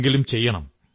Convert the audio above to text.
എങ്കിലും ചെയ്യണം